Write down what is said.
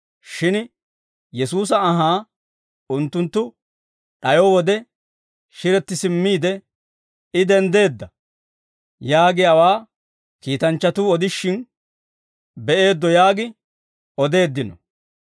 shin Yesuusa anhaa unttunttu d'ayo wode shiretti simmiide, I denddeedda; yaagiyaawaa kiitanchchatuu odishin be'eeddo yaagi odeeddino.